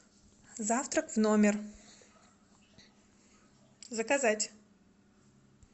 завтрак в номер заказать